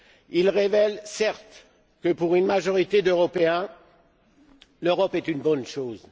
Il révèle, certes, que pour une majorité d'Européens, l'Europe est une bonne chose.